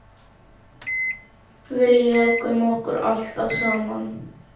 Við lékum okkur alltaf saman.